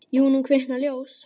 Jú, nú kviknar ljós.